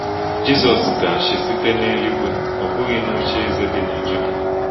Jizọs ga-achị site n’eluigwe, ọ bụghị n’ocheeze dị na Juda.